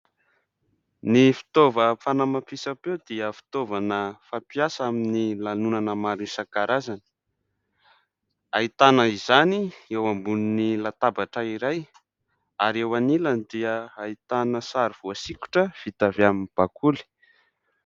Ny fitaovana fanamafisam-peo dia fitaovana fampiasa amin'ny lanonana maro isan-karazany; ahitana izany eo ambonin'ny latabatra iray; ary eo anilany dia ahitana sary voasikotra vita avy amin'ny bakoly.